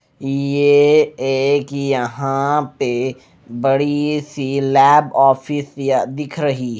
ये एक यहां पे बड़ी सी लैब ऑफिस या दिख रही--